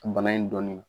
Bana in dɔnnen don